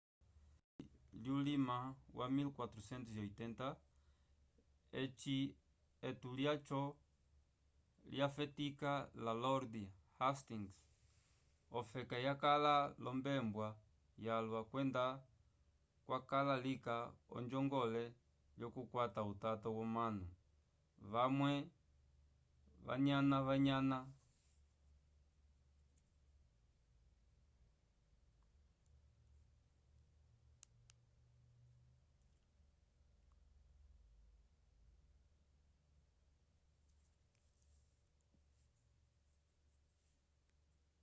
k'epuluvi lyulima wa 1480 eci etungo lyaco lyafetika la lord hastings ofeka yakala l'ombembwa yalwa kwenda kwakala lika onjongole lyokukwata utato womanu vamwe vanyananyana